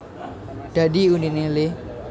Dadi uniné le